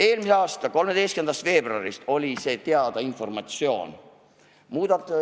Eelmise aasta 13. veebruarist oli see informatsioon teada.